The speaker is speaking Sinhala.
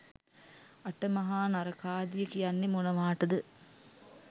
අට මහා නරකාදිය කියන්නේ මොනවාටද?